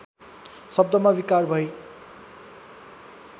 शब्दमा विकार भई